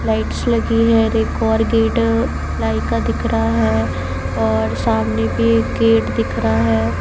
Lights लगी है एक और गेट प्लाई का दिख रहा है और सामने भी एक गेट दिखरा है।